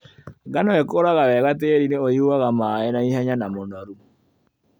Ngano ĩkũraga wega tĩrinĩ ũyuaga maĩ naihenya na mũnoru.